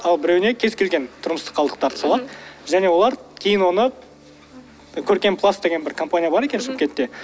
ал біреуіне кез келген тұрмыстық қалдықтарды салады және олар кейін оны көркемпласт деген бір компания бар екен шымкентте